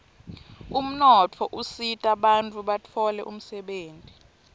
umnotfo usita bantfu batfole umdebenti